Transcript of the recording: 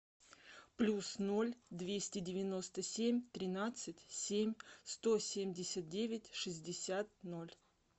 плюс ноль двести девяносто семь тринадцать семь сто семьдесят девять шестьдесят ноль